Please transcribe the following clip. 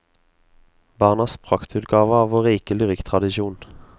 Barnas praktutgave av vår rike lyrikktradisjon.